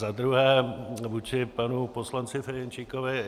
Za druhé vůči panu poslanci Ferjenčíkovi.